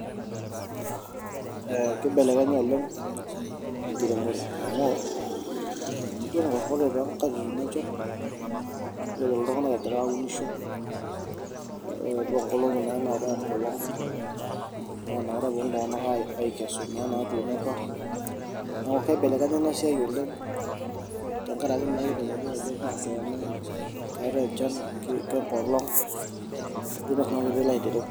Ee kibelekenye oleng' enkiremore amu ore toonkatitin enchan ninepu iltung'anak egira aunisho ee ore nkolong'i duo naatai enkolong' naa ina kata eponu iltung'anak aikesu naa inaatuno apa neeku kibelekenye ina siai oleng' tenkaraki naa mitegemea ajo kaa saa ena keetai enchan kengolong' ajo sinanu piilo aitereu.